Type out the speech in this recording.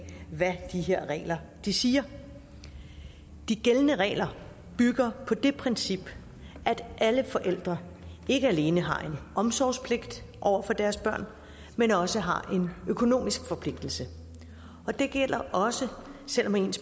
hvad de her regler siger de gældende regler bygger på det princip at alle forældre ikke alene har en omsorgspligt over for deres børn men også har en økonomisk forpligtelse og det gælder også selv om ens